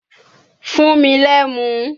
Fún mi l'ẹ́mu!